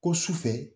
Ko sufɛ